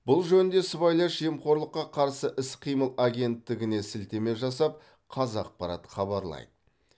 бұл жөнінде сыбайлас жемқорлыққа қарсы іс қимыл агенттігіне сілтеме жасап қазақпарат хабарлайды